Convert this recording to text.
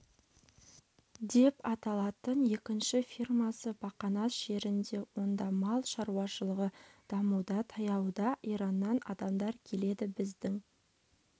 деп аталатын екінші фирмасы бақанас жерінде онда мал шаруашылығы дамуда таяуда ираннан адамдар келеді біздің